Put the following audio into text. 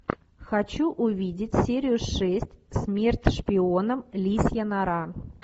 хочу увидеть серию шесть смерть шпионам лисья нора